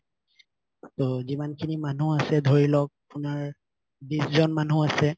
ত যিমান খিনি মানুহ আছে ধৰি লওঁক আপোনাত বিশ জন মানুহ আছে